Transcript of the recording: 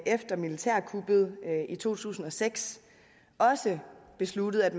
efter militærkuppet i to tusind og seks også besluttet at